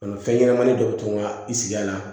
fɛn ɲɛnamanin dɔw bɛ to ka i sigi a la